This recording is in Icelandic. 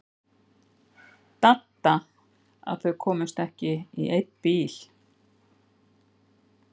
Dadda að þau komust ekki í einn bíl.